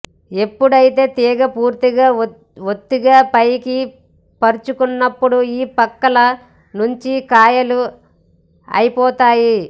ఎప్పుడైతే తీగ పూర్తిగా ఒత్తుగా పైకి పరుచుకున్నప్పుడు ఈ పక్కల నుంచి కాయలు అయిపోతాయి